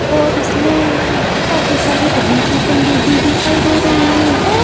और इसमें काफी सारी घंटी टंगी हुई दिखाई दे रही है।